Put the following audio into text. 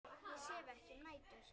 Ég sef ekki um nætur.